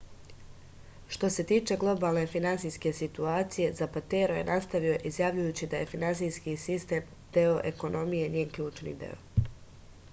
što se tiče globalne finansijske situacije zapatero je nastavio izjavljujući da je finansijski sistem deo ekonomije njen ključni deo